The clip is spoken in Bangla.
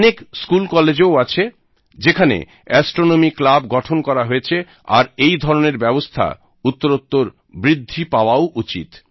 অনেক স্কুল কলেজ ও আছে যেখানে অ্যাস্ট্রনমি ক্লাব গঠন করা হয়েছে আর এই ধরণের ব্যবস্থা উত্তরোত্তর বৃদ্ধি পাওয়াও উচিৎ